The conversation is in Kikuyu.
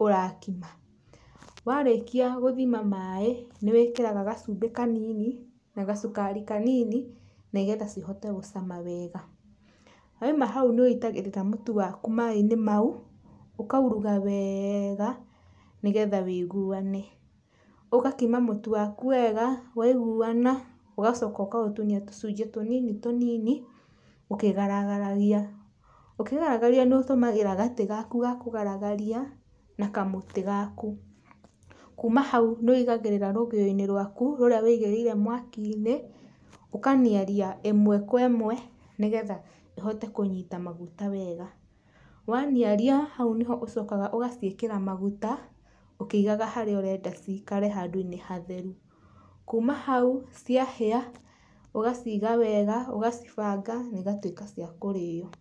ũrakima, warĩkia gũthima maĩ, nĩwĩkĩraga gacumbĩ kanini na gacukari kanini nĩgetha cihote gũcama wega, Wauma hau nĩwĩitagĩrĩra mũtu waku maĩ-inĩ mau, ũkauruga weeega nĩgetha ũiguane, ũgakima mũtu waku wega. Waiguana ũgacoka ũkaũtinia tũcunjĩ tũnini tũnini ũkigaragaragia. Ũkigaragaria nĩũtũmagĩra gatĩ gaku ga kũgaragaria na kamũtĩ gaku, kuuma hau nĩ ũigagĩrĩra rũgĩo-inĩ rũaku rũrĩa ũigĩrĩire mwaki-inĩ, ũkaniaria ĩmwe kwe ĩmwe nĩgetha ĩhote kũnyita maguta wega. Waniaria hau nĩho ũcokaga ũgaciĩkĩra maguta ũkĩigaga harĩa ũrenda cikare handũ-inĩ hatheru. Kuma hau, ciahĩa, ũgaciga wega, ũgacibanga na igatuĩka cia kũrĩo.